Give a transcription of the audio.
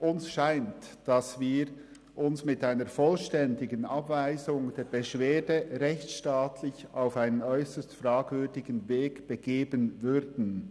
Uns scheint, dass wir uns mit einer vollständigen Abweisung der Beschwerde rechtsstaatlich auf einen äusserst fragwürdigen Weg begeben würden.